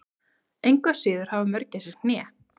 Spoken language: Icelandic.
engu að síður hafa mörgæsir hné